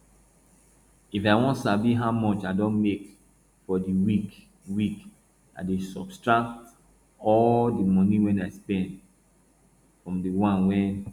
if i wan sabi how much i don make for the week week i dey subtract all the money wey i spend from the one wey